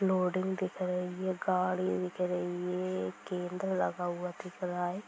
Loading दिख रही है गाड़ी दिख रही है| केंद्र लगा हुआ दिख रहा है।